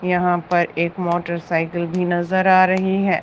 यहां पर एक मोटरसाइकिल भी नजर आ रही है।